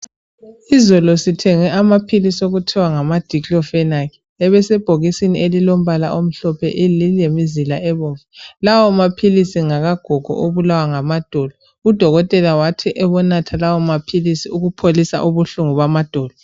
Izolo sithenge amaphilisi okuthiwa ngama "diclofenac".Ebesebhokisini elilombala omhlophe elilemizila ebomvu. Lawo maphilisi ngakagogo obulawa ngamadolo. Udokotela wathi ebonatha lawo maphilisi ukupholisa ubuhlungu bamadolo.